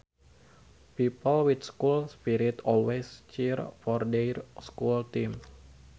People with school spirit always cheer for their schools team